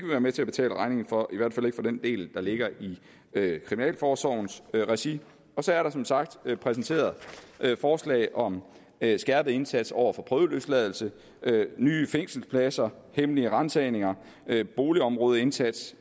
være med til at betale regningen for i hvert fald ikke for den del der ligger i kriminalforsorgens regi og så er der som sagt præsenteret forslag om en skærpet indsats over for prøveløsladelse nye fængselspladser hemmelige ransagninger boligområdeindsats